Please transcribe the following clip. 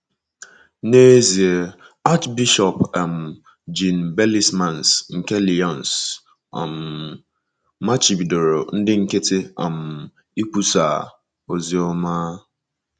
N’ezie, Achịbishọp um Jean Bellesmains nke Lyons um machibidoro ndị nkịtị um ikwusa oziọma.